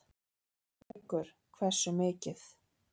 Haukur: Hversu mikið?